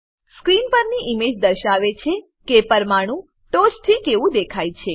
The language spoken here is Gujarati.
સ્ક્રીન પરની ઈમેજ દર્શાવે છે કે પરમાણુ ટોંચથી કેવું દેખાય છે